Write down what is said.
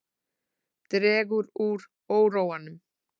Dregur úr óróanum